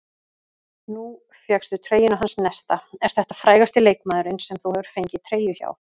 Nú fékkstu treyjuna hans Nesta, er þetta frægasti leikmaðurinn sem þú hefur fengið treyju hjá?